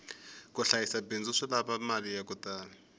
ku hlayisa bindzu swi lava mali yaku tala